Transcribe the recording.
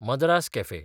Madras cafe